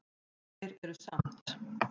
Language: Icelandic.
Þeir eru samt